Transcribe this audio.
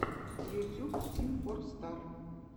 ютьюб тим фор стар